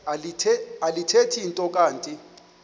alithethi nto kanti